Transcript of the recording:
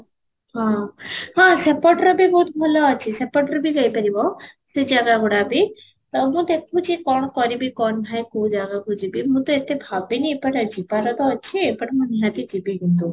ହଁ, ତ ସେପଟର ବି ବହୁତ ଭଲ ଅଛି ସେପଟର ବି ଯାଇ ପାରିବ ସେ ଜାଗା ଗୁଡା ବି ସବୁ ଦେଖୁଛି କ'ଣ କରିବି କ'ଣ ନାହିଁ କୋଉ ଜାଗାକୁ ଯିବି ମୁଁ ତ ଏତେ ଭାବିନି ଏପଟେ ଯିବାର ତ ଅଛି ଏପଟେ ମୁଁ ନିହାତି ଯିବି କିନ୍ତୁ